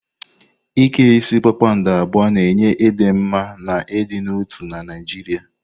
Ike isi kpakpando abụọ na-enye ịdị mma na ịdị n'otu na Naijiria.